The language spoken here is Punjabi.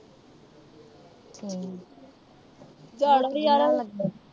ਹੂੰ।